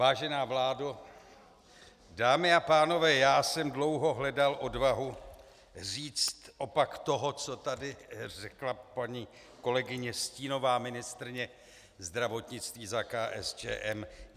Vážená vládo, dámy a pánové, já jsem dlouho hledal odvahu říct opak toho, co tady řekla paní kolegyně, stínová ministryně zdravotnictví za KSČM.